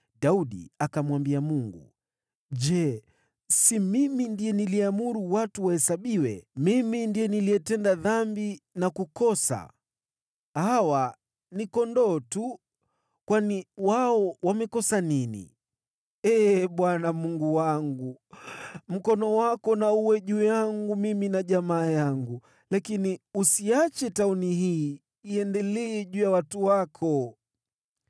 Daudi akamwambia Mungu, “Je, si mimi ndiye niliyeamuru watu wahesabiwe? Mimi ndiye niliyetenda dhambi na kukosa. Hawa ni kondoo tu. Wamefanya nini? Ee Bwana , Mungu wangu, mkono wako na uwe juu yangu mimi na jamaa yangu, lakini usiache tauni hii iendelee juu ya watu wako.”